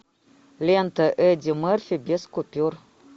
лента эдди мерфи без купюр